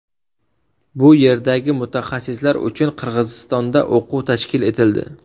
Bu yerdagi mutaxassislar uchun Qirg‘izistonda o‘quv tashkil etildi.